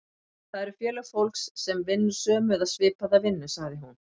Það eru félög fólks sem vinnur sömu eða svipaða vinnu, sagði hún.